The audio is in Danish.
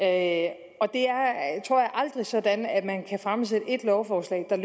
at det er sådan at man kan fremsætte et lovforslag der